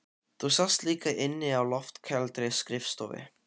Þú sast líka inni á loftkældri skrifstofu